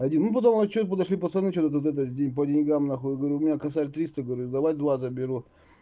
один ну потом а что подошли пацаны что-то тут это день по деньгам нахуй я говорю у меня косарь триста говорю давай два заберу